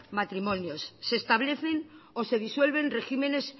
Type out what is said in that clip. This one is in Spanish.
matrimonios se establecen o se disuelven regímenes